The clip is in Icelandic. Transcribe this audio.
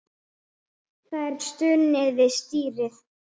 Það er stunið við stýrið.